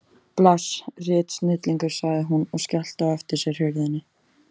Bless. ritsnillingur, sagði hún og skellti á eftir sér hurðinni.